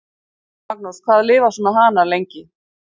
Magnús: Hvað lifa svona hanar lengi?